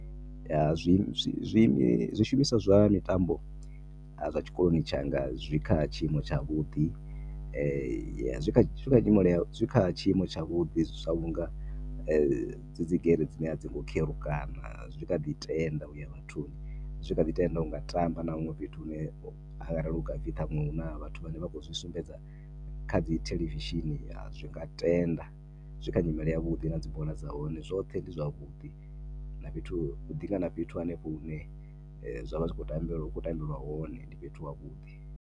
Ya, zwi, zwishumiswa zwa mitambo zwa tshikoloni tshanga zwi kha tshiimo tshavhuḓi. Zwi kha tshiimo, zwi kha tshiimo tshavhuḓi sa vhunga dzi dzi gere a dzi ngo kherukana zwi kha ḓi tenda u ya vhathuni. Zwi kha ḓi tenda u nga tamba na huṅwe fhethu hune arali hu nga pfhi ṱhaṅwe hu na vhathu vhane vha khou zwi sumbedza kha dzi thelevishini zwi nga tenda. Zwi kha nyimele yavhuḓi na dzi bola dza hone, zwoṱhe ndi zwavhuḓi na fhethu, hu ḓi nga na fhethu hanefho hune zwa vha zwi, ha vha hu khou tambelwa hone ndi fhethu havhuḓi.